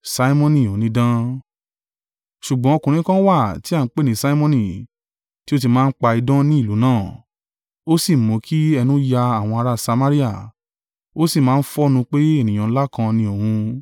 Ṣùgbọ́n ọkùnrin kan wà, tí a ń pè ní Simoni, tí ó ti máa ń pa idán ní ìlú náà, ó sì mú kí ẹnu ya àwọn ará Samaria. Ó sì máa ń fọ́nnu pé ènìyàn ńlá kan ni òun.